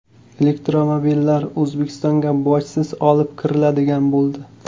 Elektromobillar O‘zbekistonga bojsiz olib kiriladigan bo‘ldi.